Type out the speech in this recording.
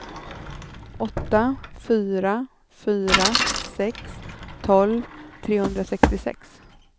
åtta fyra fyra sex tolv trehundrasextiosex